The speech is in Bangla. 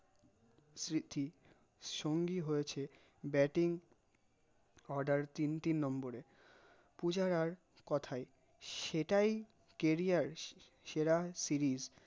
সে কি সঙ্গি হয়েছে bating order তিনটি number পূজারার কোথায় সেটাই carrier সেরা series